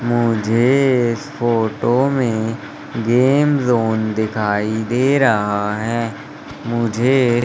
मुझे इस फोटो में गेम जोन दिखाई दे रहा हैं मुझे--